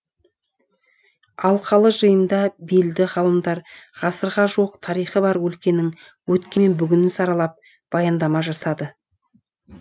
алқалы жиында белді ғалымдар ғасырға жуық тарихы бар өлкенің өткені мен бүгінін саралап баяндама жасады